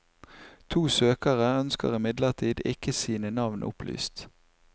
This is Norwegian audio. To søkere ønsker imidlertid ikke sine navn opplyst.